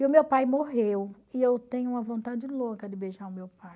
E o meu pai morreu e eu tenho uma vontade louca de beijar o meu pai.